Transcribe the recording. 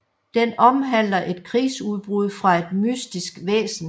Den omhandler et krigsudbrud fra et mystisk væsen